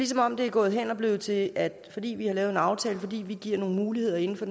som om det er gået hen og blevet til at fordi vi har lavet en aftale og fordi vi giver nogle muligheder inden for